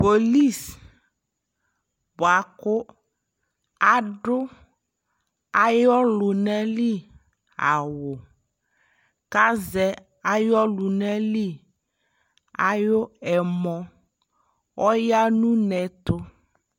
Polis buaku adu ayɔ luna li awuKazɛ ayɔ luna li ayʋ ɛmɔ Ɔya nu ne tu